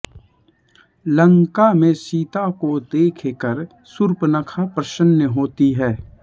लंका में सीता को देखकर शूर्पनखा प्रसन्न होती है